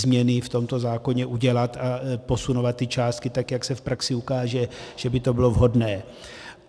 změny v tomto zákoně udělat a posunovat ty částky tak, jak se v praxi ukáže, že by to bylo vhodné.